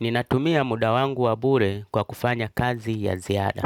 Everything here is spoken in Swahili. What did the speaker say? Ninatumia muda wangu wa bure kwa kufanya kazi ya ziada.